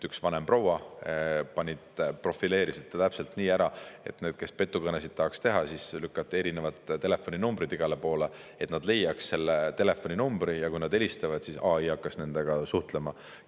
Üks vanem proua profileeriti täpselt nii ära, et neid, kes petukõnesid tahaks teha, siis lükati erinevaid telefoninumbreid igale poole, et nad leiaks selle telefoninumbri, ja kui nad helistavad, siis AI hakkaks nendega suhtlema.